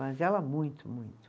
Mas ela, muito, muito.